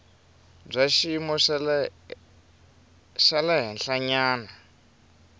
bya xiyimo xa le henhlanyana